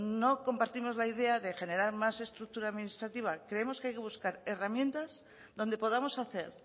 no compartimos la idea de generar más estructura administrativa creemos que hay que buscar herramientas donde podamos hacer